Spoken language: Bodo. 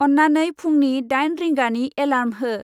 अन्नानै फुंनि दाइन रिंगानि एलार्म हो।